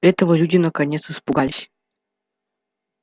этого люди наконец испугались